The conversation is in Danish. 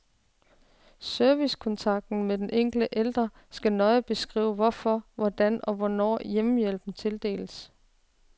Servicekontrakten med den enkelte ældre skal nøje beskrive hvorfor, hvordan og hvornår hjemmehjælpen tildeles.